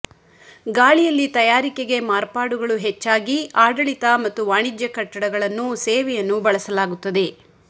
ಗಾಳಿಯಲ್ಲಿ ತಯಾರಿಕೆಗೆ ಮಾರ್ಪಾಡುಗಳು ಹೆಚ್ಚಾಗಿ ಆಡಳಿತ ಮತ್ತು ವಾಣಿಜ್ಯ ಕಟ್ಟಡಗಳನ್ನು ಸೇವೆಯನ್ನು ಬಳಸಲಾಗುತ್ತದೆ